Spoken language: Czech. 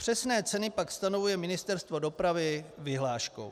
Přesné ceny pak stanovuje Ministerstvo dopravy vyhláškou.